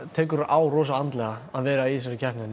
tekur rosa á andlega að vera í þessari keppni